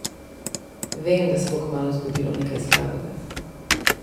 Vem, da se bo kmalu zgodilo nekaj slabega!